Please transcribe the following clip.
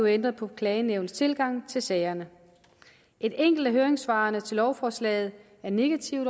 ændret på klagenævnets tilgang til sagerne et enkelt af høringssvarene til lovforslaget er negativt